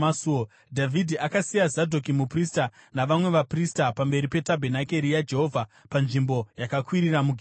Dhavhidhi akasiya Zadhoki muprista navamwe vaprista pamberi petabhenakeri yaJehovha panzvimbo yakakwirira muGibheoni